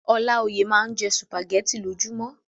Ọláoyè máa n jẹ sùpàgẹ̀tì lojumọ.